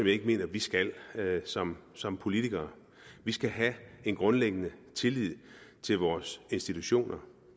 ikke mener at vi skal som som politikere vi skal have en grundlæggende tillid til vores institutioner